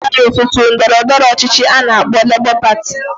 Na ya bata otu otu ndọrọ ndọrọ ọchịchị ana akpo Labour Party.